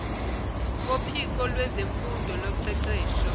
kophiko lwezemfundo loqeqesho